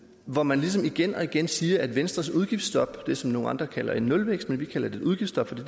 hvor man ligesom igen og igen siger at venstres udgiftsstop det som andre kalder en nulvækst men vi kalder det et udgiftsstop for det